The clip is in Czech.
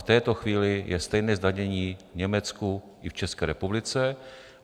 V této chvíli je stejné zdanění v Německu i v České republice.